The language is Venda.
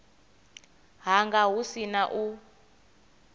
hanga hu si na u